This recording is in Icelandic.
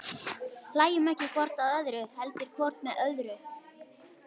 Hlæjum ekki hvort að öðru, heldur hvort með öðru.